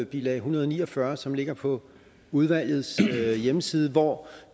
bilag en hundrede og ni og fyrre som ligger på udvalgets hjemmeside hvor